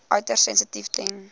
uiters sensitief ten